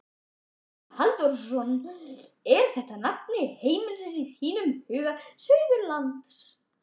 Magnús Halldórsson: Er þetta nafli alheimsins í þínum huga, Suðurlandið?